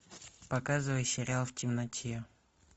показывай сериал в темноте